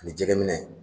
Ani jɛgɛ minɛ